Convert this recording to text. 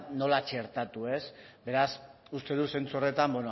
nola txertatu beraz uste dut zentzu horretan